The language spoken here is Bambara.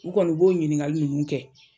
U kɔni b'o ɲiniŋali nunnu kɛ.